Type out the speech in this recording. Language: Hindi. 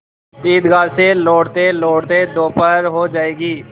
ईदगाह से लौटतेलौटते दोपहर हो जाएगी